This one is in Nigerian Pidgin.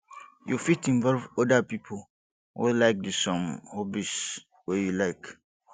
you fit involve oda pipo wey like di same hobbies wey you like